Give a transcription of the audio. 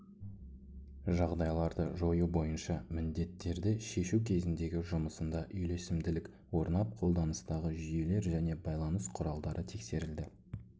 жағдайларды жою бойынша міндеттерді шешу кезіндегі жұмысында үйлесімділік орнап қолданыстағы жүйелер және байланыс құралдары тексерілді